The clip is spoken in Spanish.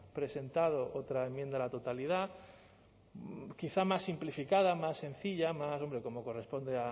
presentado otra enmienda a la totalidad quizá más simplificada más sencilla hombre como corresponde